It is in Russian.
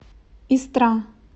истра